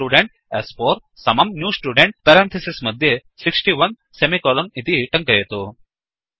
student स्4 समम् new student 160 इति टङ्कयतु